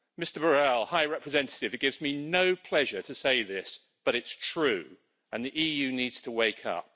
Mr Borrell, High Representative, it gives me no pleasure to say this but it is true, and the EU needs to wake up.